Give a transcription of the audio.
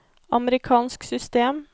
amerikansk system